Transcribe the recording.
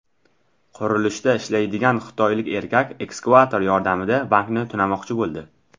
Qurilishda ishlaydigan xitoylik erkak ekskavator yordamida bankni tunamoqchi bo‘ldi.